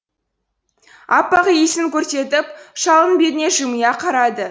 аппақ иісін көрсетіп шалдың бетіне жымия қарады